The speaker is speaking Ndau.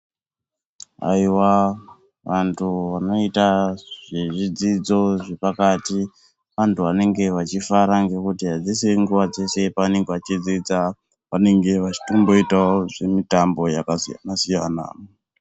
Aiwa antu anoita zvezvidzidzo zvepakati anthu anenge vachifara ngekuti adzisiri nguva dzese paanenge vachidzidza. Vanenge vachitomboitawo zvimitambo yakasiyana- siyana.